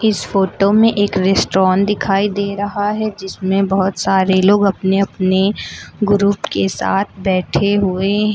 इस फोटो में एक रेस्टोरेंट दिखाई दे रहा है जिसमें बहुत सारे लोग अपने अपने ग्रुप के साथ बैठे हुए हैं।